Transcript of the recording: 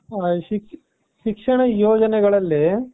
ಹ ಶಿಕ್ಷಣ ಯೋಜನೆಗಳಲ್ಲಿ .